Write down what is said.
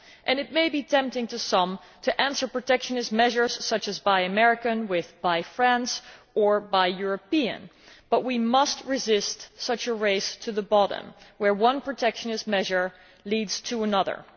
It may be tempting to some to answer protectionist measures such as buy American' with buy French' or buy European', but we must resist such a race to the bottom, where one protectionist measure leads to another.